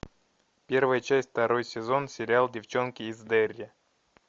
первая часть второй сезон сериал девчонки из дерри